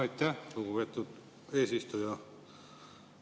Aitäh, lugupeetud eesistuja!